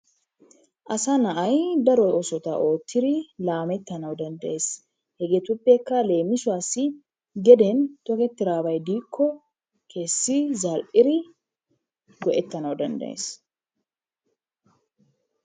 Asa na'ay daro oosota oottidi laamettanawu danddayes. Hegeetuppekka leemisuwassi geden tokettidabay diikko kessi zal'iri go'ettanawu danddayes.